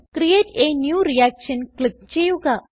create a new reaction click ചെയ്യുക